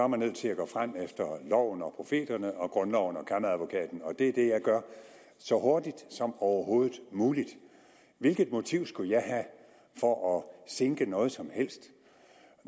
man nødt til at gå frem efter loven og profeterne og grundloven og kammeradvokaten og det er det jeg gør så hurtigt som overhovedet muligt hvilket motiv skulle jeg have for at sinke noget som helst